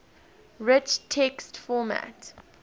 rich text format